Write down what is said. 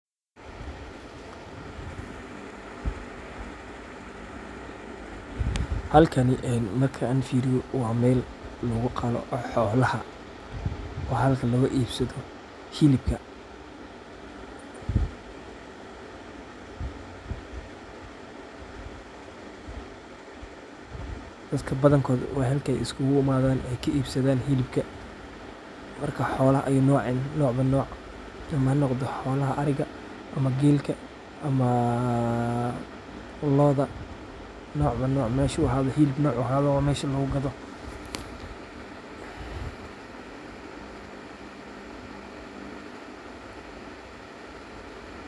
Halkani markan firiyo wa mel laguqalo xoolaha, wa mel laguibiyo xilibka, dadka badankodh wa xalka ay iskulaimadan ay kaibsadan xilibka , marka xoolaha ayi noc nocba noc ama xanogdo xoolah aariga ama gelka ama looda nocba noc mesha wixi xilib nocu ahadoba lagugado.